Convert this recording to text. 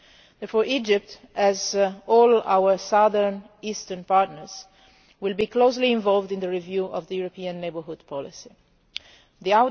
Therefore Egypt, like all our southern and eastern partners, will be closely involved in the review of the European Neighbourhood Policy